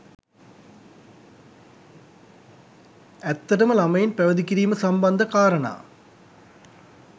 ඇත්තටම ළමයින් පැවිදි කිරීම සම්බන්ධ කාරණා